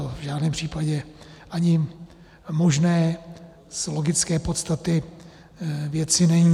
To v žádném případě ani možné z logické podstaty věci není.